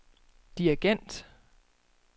dirigent